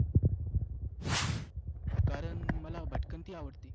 कारण मला भटकंती आवडते.